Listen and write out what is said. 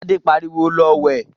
Adé pariwo, 'Lọ wẹ̀'